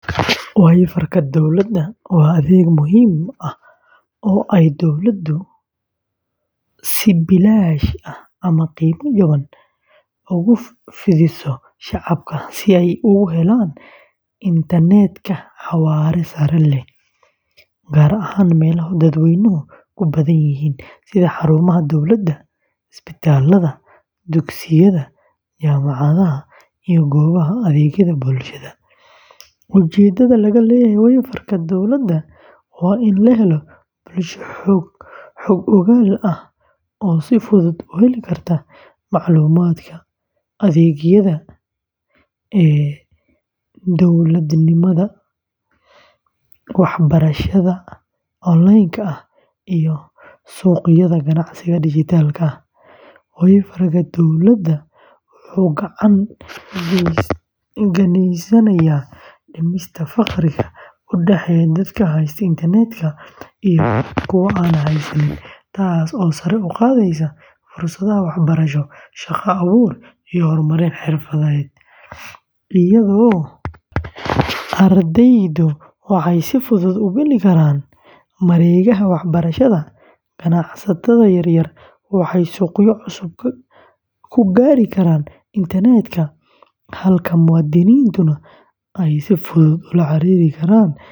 WiFiga dowladda waa adeeg muhiim ah oo ay dowladdu si bilaash ah ama qiimo jaban ugu fidiso shacabka si ay ugu helaan internetka xawaare sare leh, gaar ahaan meelaha dadweynuhu ku badan yihiin sida xarumaha dowladda, isbitaalada, dugsiyada, jaamacadaha, iyo goobaha adeegyada bulshada. Ujeedada laga leeyahay WiFiga dowladda waa in la helo bulsho xog-ogaal ah oo si fudud u heli karta macluumaadka, adeegyada e-dowladnimada, waxbarashada onlineka ah, iyo suuqyada ganacsiga dhijitaalka ah. WiFiga dowladda wuxuu gacan ka geysanayaa dhimista farqiga u dhexeeya dadka haysta internetka iyo kuwa aan haysan, taasoo sare u qaadaysa fursadaha waxbarasho, shaqo-abuur, iyo horumarin xirfadeed. Ardayda waxay si fudud u geli karaan mareegaha waxbarashada, ganacsatada yaryar waxay suuqyo cusub ku gaari karaan internetka, halka muwaadiniintuna ay si fudud ula xiriiri karaan adeegyada dowladda.